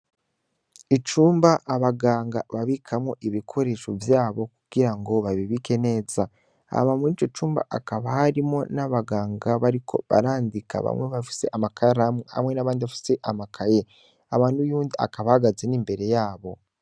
Icumba abaganga babikamwo ibikoresho vyabo kugirango babibike neza, hama murico cumba hakaba harimwo abaganga bariko barandika, bamwe bafise amakaramu ,hamwe n'abandi bafise amakaye ,hakaba nuyundi akaba ahagaze n'imbere yabo.